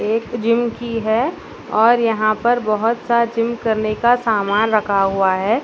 एक जिम की है और यहां पर बहुत सारा जिम करने का सामान रखा हुआ है।